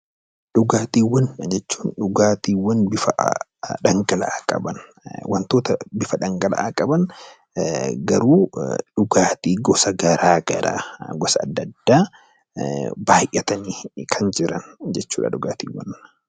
Dhugaatiiwwan jechuun dhugaatiiwwan bifa dhangala'aa qaban wantoota bifa dhangala'aa qaban garuu dhugaatii gosa garaagaraa gosa adda addaabaay'atanii kan jiran jechuudha dhugaatiiwwan.